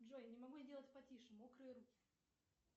джой не могу сделать потише мокрые руки